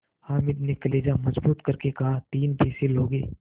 हामिद ने कलेजा मजबूत करके कहातीन पैसे लोगे